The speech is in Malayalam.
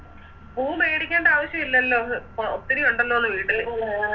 പൂ മേടിക്കേണ്ട ആവശ്യം ഇല്ലല്ലോ ഒത്തിരി ഒണ്ടല്ലോന്ന് വീട്ടില്